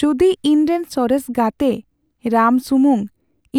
ᱡᱩᱫᱤ ᱤᱧᱨᱮᱱ ᱥᱚᱨᱮᱥ ᱜᱟᱛᱮ ᱨᱟᱢ ᱥᱩᱢᱩᱝ,